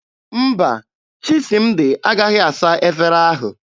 Mba, Chisịmdị agaghị asa efere ahụ.